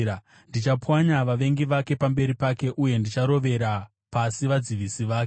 Ndichapwanya vavengi vake pamberi pake, uye ndicharovera pasi vadzivisi vake.